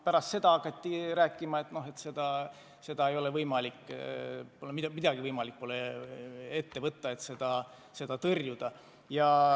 Pärast seda hakati rääkima, et pole võimalik ette võtta midagi, et seda tõrjuda.